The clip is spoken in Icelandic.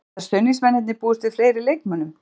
Geta stuðningsmennirnir búist við fleiri leikmönnum?